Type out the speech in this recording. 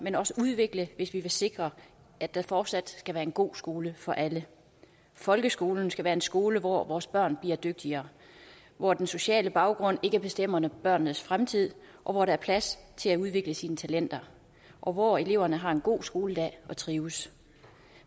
men også udvikle hvis vi vil sikre at der fortsat skal være en god skole for alle folkeskolen skal være en skole hvor vores børn bliver dygtigere hvor den sociale baggrund ikke bestemmer børnenes fremtid og hvor der er plads til at udvikle sine talenter og hvor eleverne har en god skoledag og trives